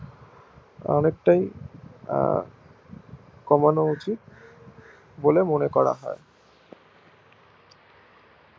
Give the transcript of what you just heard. অনেকটাই আহ কমানো উচিত বলে মনে করা হয়